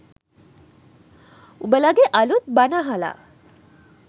උඹලගේ අලුත් බණ අහලා